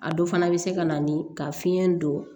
A dɔ fana bɛ se ka na ni ka fiɲɛ don